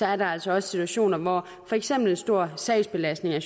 er der altså også situationer hvor for eksempel en stor sagsbelastning